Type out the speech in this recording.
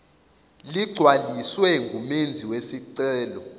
ligcwaliswe ngumenzi wesicelo